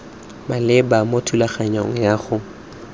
maleba mo thulaganyong ya go